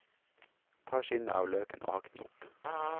Ta skinnet av løken og hakk den opp.